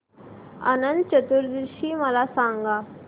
अनंत चतुर्दशी मला सांगा